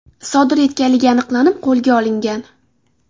sodir etganligi aniqlanib, qo‘lga olingan.